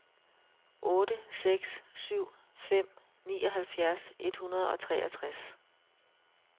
otte seks syv fem nioghalvfjerds et hundrede og treogtres